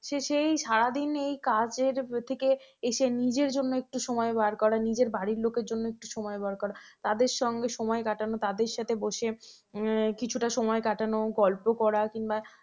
সেই সারাদিন এই কাজের থেকে এসে নিজের জন্য একটু সময় বার করা, নিজের বাড়ির লোকের জন্য একটু সময় বার করা, তাদের সঙ্গে সময় কাটানো তাদের সাথে বসে কিছুটা সময় কাটানো গল্প করা কিংবা